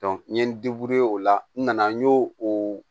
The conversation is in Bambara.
n ye n o la n nana n ɲe o